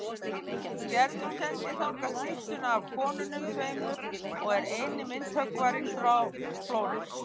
Gerður sendir þangað styttuna af konunum tveimur og er eini myndhöggvarinn frá Flórens.